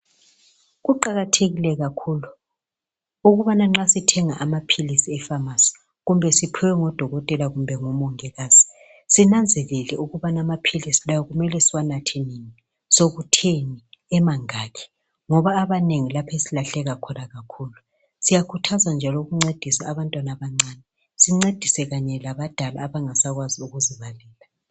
Kuqakathekile kakhulu ukubana nxa sithenga amaphilisi epharmacy kumbe siphiwe ngudokotela kumbe ngumongikazi sinanzelele ukubana amaphilisi lawa kumele siwanathe nini sekutheni emangaki ngoba abanengi yilapho esiyalahleka khona kakhulu siyakhuthaza njalo ukuncedisa abantwana abancane sincedise kanye labadala abangasakwazi ukuzibalela